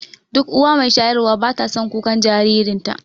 Duk uwa mai shayarwa bata son kukan jaririnta